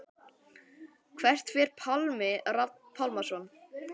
Hvert fer Pálmi Rafn Pálmason?